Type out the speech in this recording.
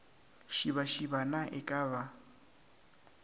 šibašiba na e ka ba